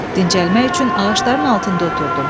Dincəlmək üçün ağacların altında oturdum.